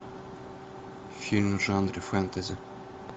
фильм в жанре фэнтези